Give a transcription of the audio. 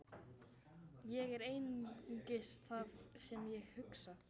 Ég er einungis það sem ég hugsa.